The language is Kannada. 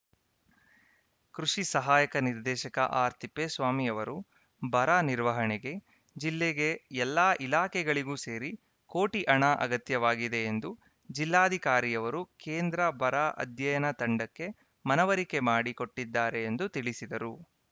ಕೃಷಿ ಸಹಾಯಕ ನಿರ್ದೇಶಕ ಆರ್‌ತಿಪ್ಪೇಸ್ವಾಮಿ ಅವರು ಬರ ನಿರ್ವಹಣೆಗೆ ಜಿಲ್ಲೆಗೆ ಎಲ್ಲಾ ಇಲಾಖೆಗಳಿಗೂ ಸೇರಿ ಕೋಟಿ ಹಣ ಅಗತ್ಯವಾಗಿದೆ ಎಂದು ಜಿಲ್ಲಾಧಿಕಾರಿಯವರು ಕೇಂದ್ರ ಬರ ಅಧ್ಯಯನ ತಂಡಕ್ಕೆ ಮನವರಿಕೆ ಮಾಡಿ ಕೊಟ್ಟಿದ್ದಾರೆ ಎಂದು ತಿಳಿಸಿದರು